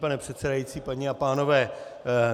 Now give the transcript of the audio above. Pane předsedající, paní a pánové.